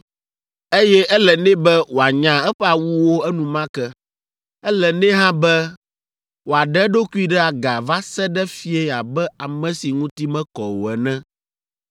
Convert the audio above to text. eye ele nɛ be wòanya eƒe awuwo enumake. Ele nɛ hã be wòaɖe eɖokui ɖe aga va se ɖe fiẽ abe ame si ŋuti mekɔ o ene.